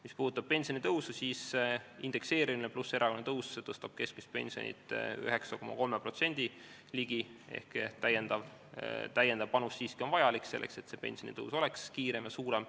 Mis puudutab pensionitõusu, siis indekseerimine pluss erakorraline tõus tõstab keskmist pensioni ligi 9,3% ehk lisapanus on siiski vajalik, selleks et pensionitõus oleks kiirem ja suurem.